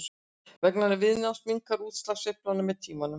vegna viðnáms minnkar útslag sveiflnanna með tíma